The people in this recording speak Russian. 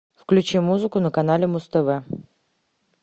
включи музыку на канале муз тв